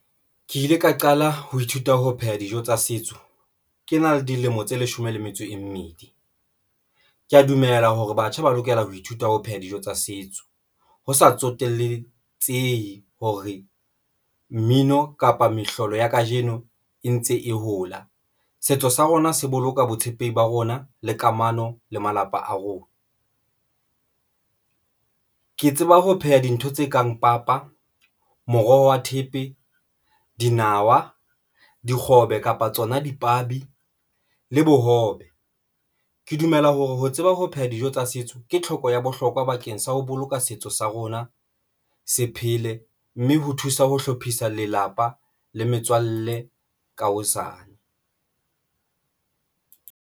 Ke ile ka qala ho ithuta ho pheha dijo tsa setso ke na le dilemo tse leshome le metso e mmedi, ke ya dumela hore batjha ba lokela ho ithuta ho pheha dijo tsa setso, ho sa tsoteletsehe hore mmino kapa mehlolo ya kajeno e ntse e hola. Setso sa rona se boloka botshepehi ba rona le kamano le malapa a rona. Ke tseba ho pheha dintho tse kang papa, moroho wa thepe, dinawa, dikgobe kapa tsona dipabi le bohobe. Ke dumela hore ho tseba ho pheha dijo tsa setso ke tlhoko ya bohlokwa bakeng sa ho boloka setso sa rona se phele mme ho thusa ho hlophisa lelapa le metswalle ka hosane.